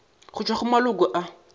go tšwa go maloko a